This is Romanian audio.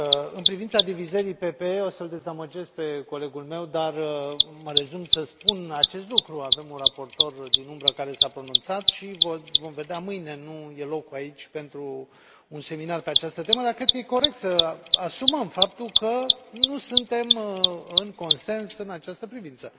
În privința divizării PPE, o să l dezamăgesc pe colegul meu, dar mă rezum să spun acest lucru avem un raportor din umbră care s a pronunțat și vom vedea mâine nu este locul aici pentru un seminar pe această temă, dar cred că este corect să asumăm faptul că nu suntem în consens în această privință.